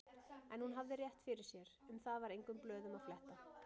En hún hafði rétt fyrir sér, um það var engum blöðum að fletta.